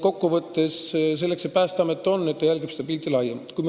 Kokku võttes: selleks see Päästeamet on, et ta jälgib laiemalt kogu pilti.